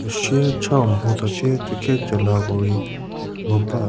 sie chau mho tsatie cieke cielako rei nguba.